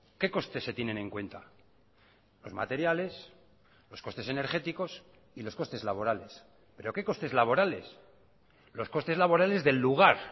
qué costes se tienen en cuenta los materiales los costes energéticos y los costes laborales pero qué costes laborales los costes laborales del lugar